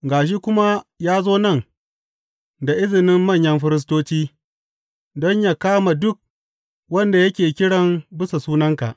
Ga shi kuma ya zo nan da izinin manyan firistoci, don yă kama duk wanda yake kiran bisa sunanka.